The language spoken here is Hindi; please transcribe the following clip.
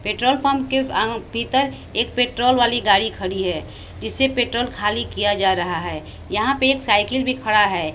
पेट्रोल पंप के अं भीतर एक पेट्रोल वाली गाड़ी खड़ी है जिससे पेट्रोल खाली किया जा रहा है यहां पे एक साइकिल भी खड़ा है।